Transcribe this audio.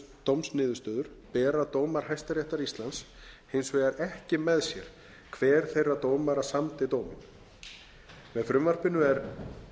við dómsniðurstöður bera dómar hæstaréttar íslands hins vegar ekki með sér hver þeirra dómara samdi dóminn með frumvarpinu er